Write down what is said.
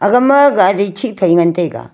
gama gari chihphai ngan taiga.